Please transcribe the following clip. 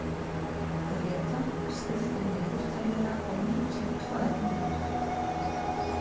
Gréta, stilltu niðurteljara á níutíu og tvær mínútur.